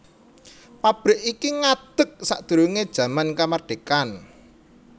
Pabrik iki ngadeg sadurungé jaman kamardikan